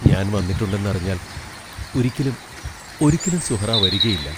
ഞാൻ വന്നിട്ടുണ്ടെന്നറിഞ്ഞാൽ, ഒരിക്കലും, ഒരിക്കലും സുഹ്റാ വരുകയില്ല!